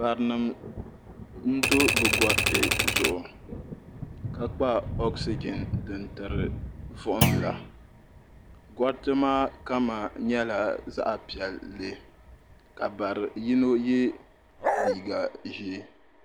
Barinima n do bɛ goriti zuɣu ka kpa oksijin din tiri vuhim la goriti maa kama nyɛla zaɣa piɛlli ka bari yino ye liiga ʒee.